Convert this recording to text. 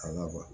A la kuwa